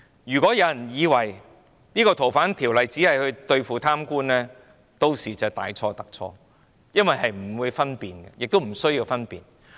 如果有人以為修訂《逃犯條例》只是為對付貪官，便大錯特錯，因為屆時是不會分辨，亦不需要分辨。